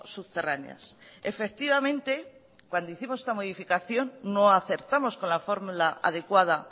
subterráneas efectivamente cuando hicimos esta modificación no acertamos con la fórmula adecuada